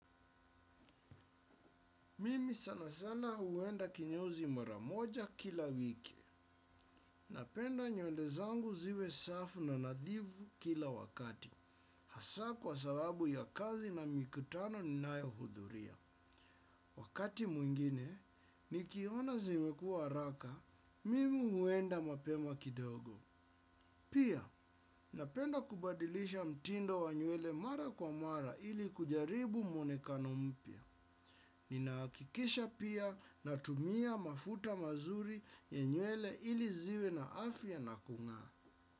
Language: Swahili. Mimi sana sana huenda kinyozi mara moja kila wiki. Napenda nywele zangu ziwe safi na nadhifu kila wakati. Hasa kwa sababu ya kazi na mikutano ninayohudhuria. Wakati mwingine, nikiona zimekuwa haraka, mimi huenda mapema kidogo. Pia, napenda kubadilisha mtindo wa nywele mara kwa mara ili kujaribu mwonekano mpya. Ninahakikisha pia natumia mafuta mazuri ya nywele ili ziwe na afya na kung'aa.